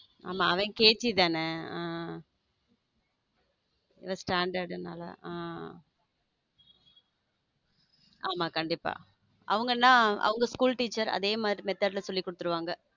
ஆமா அவன் கேஜி தான இவ standard ஹம் ஆமா கண்டிப்பா அவங்க என்ன அவங் school teacher அதே மாதிரி method சொல்லி கொடுத்துடுவாங்க.